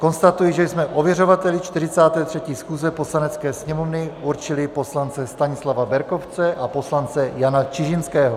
Konstatuji, že jsme ověřovateli 43. schůze Poslanecké sněmovny určili poslance Stanislava Berkovce a poslance Jana Čižinského.